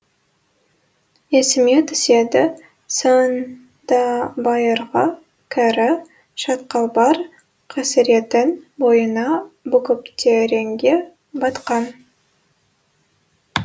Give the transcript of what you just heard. есіме түседі сондабайырғы кәрі шатқалбар қасыретін бойына бүгіптереңге батқан